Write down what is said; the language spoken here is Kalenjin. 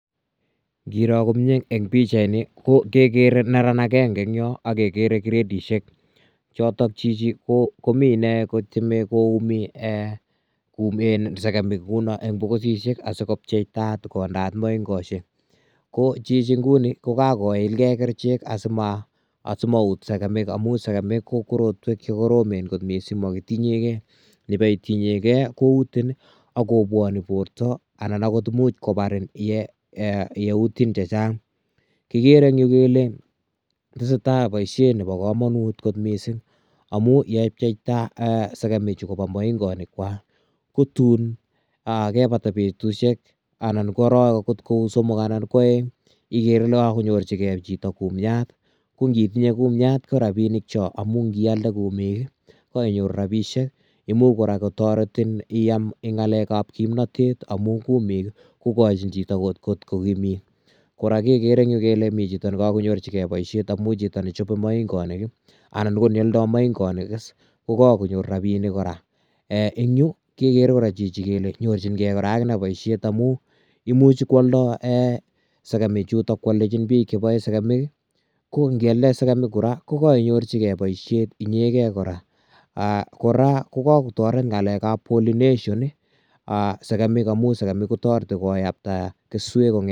Ngiroo komyei en pichait nii ko kegere neraan agenge en Yoon agegere gradisheek chotoon chichi komii inei kotyemei koumii eeh eeh segemiik eng boksisiek asikopcheitat kondeat maingosiek ko chichi nguni ko kakoilgei kercheek asimaguut segemiik amuun segemiik ko korotweek che koromen makitinyei gei ibai tinyei gei koutiin ibak kobwanik bortoo anan akoot imuuch kobariin ye utiin chechaang kigere en Yuu kole tesetai boisiet nebo kamanut koot missing amuun ye cheptai segemik chuu kobaa mainganiik kwako ko tuun ye batai betusiek anan ko araweek kou akoot somok anan ko aeng igere Ile kanyoorjigei chitoo kumiat ,ko ngo tinyei kumiat ko rapinik choon amuun kiyalde kumiig ko kainyoruu rapisheek imuuch kora kotaretiin iyaam eng ngalek ab kimnatet amuun kumiig ii kigochiin kora chitoo, kora kegere en Yu kele miten chitoo ne kakonyoorjigei boisiet, amuun chitoo ne chapee mainganiik anan ko ne yaldai maingonik ko kakonyoor rapinik kora ,eh yu kegere kele nyorjigei boisiet amuun imuuch kiyaldai segemiik chutoon, kwaldenjiin bike che bae segemiik ii ko ngialeen segemiik kora ko koinyorjigei boisiet inyegen kora ko kikotaret ngalek ab [pollination] segemik amun segemiik kotaretii koyaptaa kesuek.